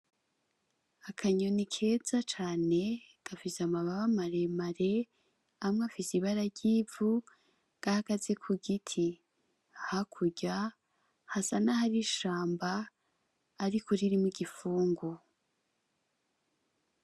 Akanyoni keza cane, gafise amababa maremare, amwe afise ibara ry'ivu. Gahagaze ku giti, hakurya hasa n'ahari ishamba ariko ririmwo igipfungu